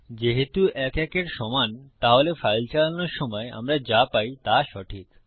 যেহেতু ১ ১ এর সমান তাহলে ফাইল চালানোর সময় আমরা যা পাই তা সঠিক